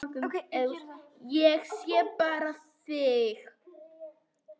Ég sé bara þig!